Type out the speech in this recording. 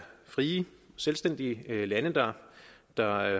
frie selvstændige lande der der